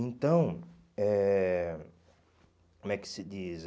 Então, eh como é que se diz?